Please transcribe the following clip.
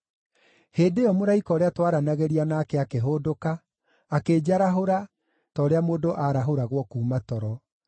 Hĩndĩ ĩyo mũraika ũrĩa twaranagĩria nake akĩhũndũka, akĩnjarahũra, ta ũrĩa mũndũ aarahũragwo kuuma toro.